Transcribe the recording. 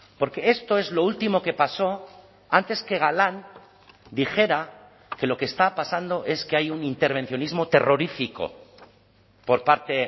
porque esto es lo último que pasó antes que galán dijera que lo que está pasando es que hay un intervencionismo terrorífico por parte